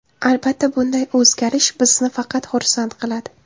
Albatta bunday o‘zgarish bizni faqat xursand qiladi.